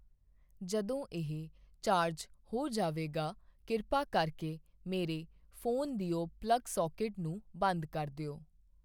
ਜਦੋਂ ਇਹ ਚਾਰਜ ਹੋ ਜਾਵੇਗਾ ਕਿਰਪਾ ਕਰਕੇ ਮੇਰੇ ਫ਼ੋਨ ਦਿਓ ਪਲੱਗ ਸਾਕੇਟ ਨੂੰ ਬੰਦ ਕਰ ਦਿਓ